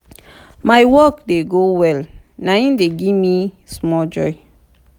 my work dey go well na im dey give me small joy.